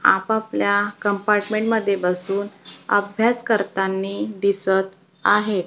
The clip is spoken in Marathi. आपापल्या कंपार्टमेंटमध्ये बसून अभ्यास करतानी दिसत आहे.